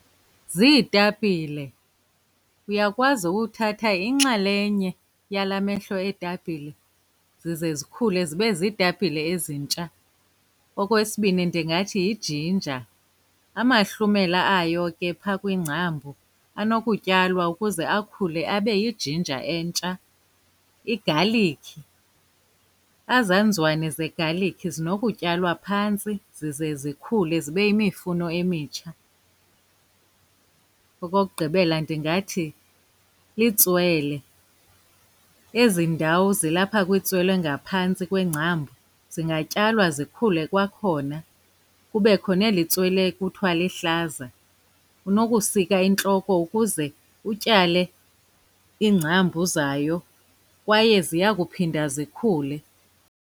Ziitapile, uyakwazi uthatha inxalenye yala mehlo eetapile zize zikhule zibe ziitapile ezintsha. Okwesibini, ndingathi yijinja, amahlumela ayo ke phaa kwiingcambu anokutyalwa ukuze akhule abe yijinja entsha. Igalikhi, ezaa nzwane zegalikhi zinokutyalwa phantsi zize zikhule zibe yimifuno emitsha. Okokugqibela, ndingathi litswele, ezi ndawo zilapha kwintswele ngaphantsi kweengcambu zingatyalwa zikhule kwakhona. Kubekho neli tswele kuthwa lihlaza, unokusika intloko ukuze utyale iingcambu zayo kwaye ziya kuphinda zikhule.